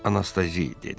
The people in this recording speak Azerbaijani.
Anastazi dedi.